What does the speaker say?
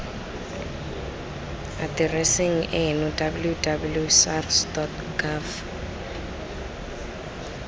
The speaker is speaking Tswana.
atereseng eno www sars gov